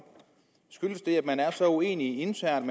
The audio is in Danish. skyldes det at man er så uenige internt